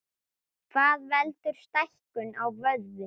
Hvað veldur stækkun á vöðvum?